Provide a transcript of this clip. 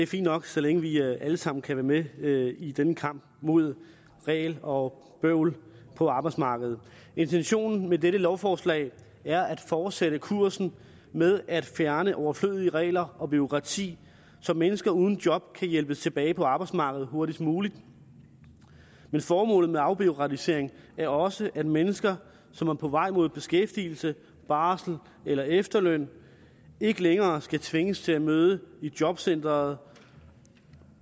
fint nok så længe vi alle sammen kan være med i denne kamp mod regler og bøvl på arbejdsmarkedet intentionen med dette lovforslag er at fortsætte kursen med at fjerne overflødige regler og bureaukrati så mennesker uden job kan hjælpes tilbage på arbejdsmarkedet hurtigst muligt men formålet med afbureaukratisering er også at mennesker som er på vej mod beskæftigelse barsel eller efterløn ikke længere skal tvinges til at møde i jobcenteret